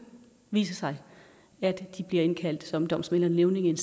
vise sig at de bliver indkaldt som domsmænd eller nævninge i en